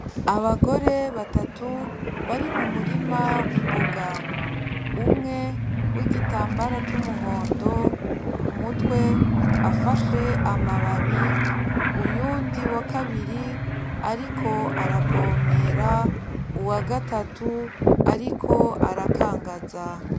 Abagore batatu bari mu murima w'imboga, umwe w'igitamabara c'umuhondo ku mutwe afashe amababi, uyundi wa kabiri ariko aravomera, uwa gatatu ariko arakangaza.